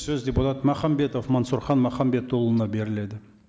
сөз депутат махамбетов мәнсүрхан махамбетұлына беріледі